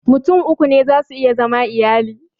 Mutum uku za su iya zama iyali